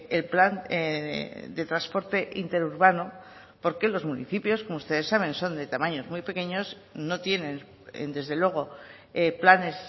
el plan de transporte interurbano porque los municipios como ustedes saben son de tamaños muy pequeños no tienen desde luego planes